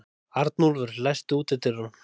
Arnúlfur, læstu útidyrunum.